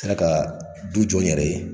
N sera ka du jɔ n yɛrɛ ye.